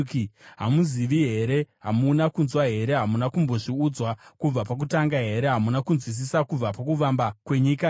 Hamuzivi here? Hamuna kunzwa here? Hamuna kumbozviudzwa kubva pakutanga here? Hamuna kunzwisisa kubva pakuvamba kwenyika here?